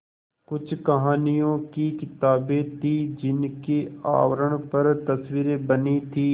कुछ कहानियों की किताबें थीं जिनके आवरण पर तस्वीरें बनी थीं